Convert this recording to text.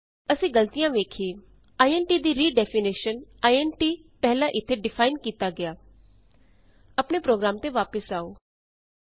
ਅਸੀਂ ਗਲਤੀਆਂ ਵੇਖੀਏਆਈਐਨਟੀ ਦੀ ਰੀਡੈਫੀਨੇਸ਼ਨ ਆਈਐਨਟੀ ਪਹਿਲਾਂ ਇਥੇ ਡਿਫਾਈਨ ਕੀਤਾ ਗਿਆ redefinition of int a int a previously defined here